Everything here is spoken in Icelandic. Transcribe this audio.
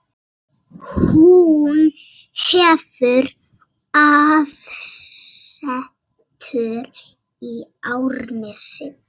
Hún hefur aðsetur í Árnesi.